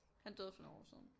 Han døde for nogle år siden